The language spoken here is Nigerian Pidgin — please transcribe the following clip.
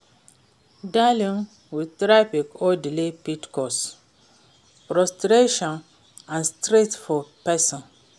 Dealing with traffic or delays fit cause frustration and stress for pesin.